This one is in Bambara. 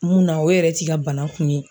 Munna o yɛrɛ t'i ka bana kun ye.